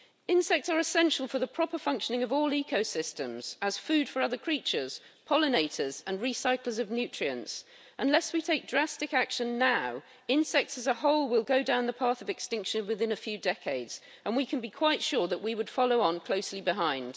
Insects are essential for the proper functioning of all ecosystems as food for other creatures, pollinators and recyclers of nutrients. Unless we take drastic action now, insects as a whole will go down the path of extinction within a few decades and we can be quite sure that we would follow on closely behind.